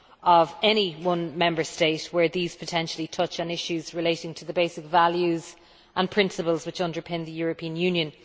of any one Member State where these potentially touch on issues relating to the basic values and principles which underpin the European Union.